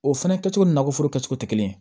O fɛnɛ kɛcogo nakɔ foro kɛcogo tɛ kelen ye